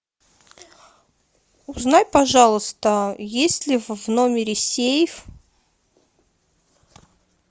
узнай пожалуйста есть ли в номере сейф